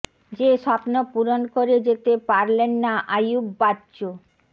যে স্বপ্ন পূরণ করে যেতে পারলেন না আইয়ুব বাচ্চু